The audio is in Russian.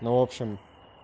ну в общем